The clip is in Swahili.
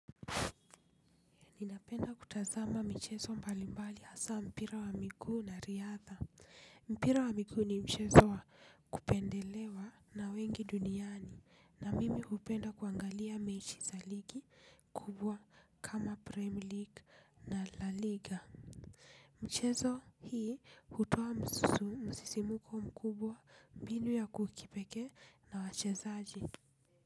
Ninapenda kutazama mchezo mbalimbali hasa mpira wa miguu na riadha. Mpira wa miguu ni mchezo wa kupendelewa na wengi duniani na mimi hupenda kuangalia mechi za ligi kubwa kama Premier League na La Liga. Mchezo hii hutoa msisimko mkubwa mbinu ya kipekee na wachezaji.